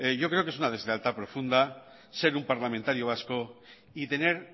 yo creo que es una deslealtad profunda ser un parlamentario vasco y tener